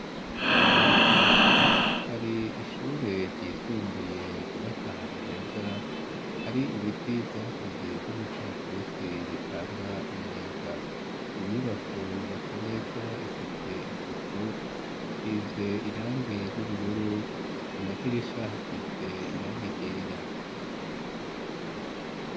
Hari ishure ryisumbuye ryubatse ahantu heza, hari ibiti vyakuze vy'imikaratusi bitanga umuyaga; iyo nyubako yubatse neza ifise isuku, isize irange ry'ubururu, ku madirisha hasize irangi ryera.